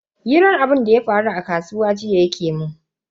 Hirar abunda ya faru jiya a kasuwa yake mun.